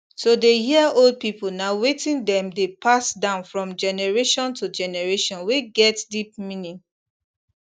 to dey hear old people na thing wey dem dey pass down from generation to generation wey get deep meaning